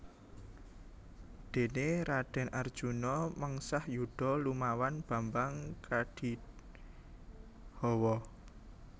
Dene Raden Arjuna mengsah yuda lumawan Bambang Kandhihawa